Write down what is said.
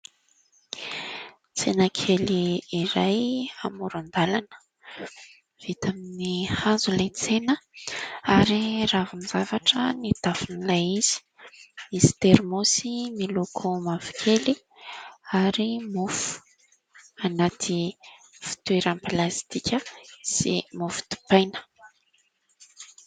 Tsena kely iray amoron-dalana, vita amin'ny hazo ilay tsena ary ravin-javatra ny tafon'ilay izy. Misy terimôsy miloko mavokely ary mofo anaty fitoerana plastika sy mofo dipaina.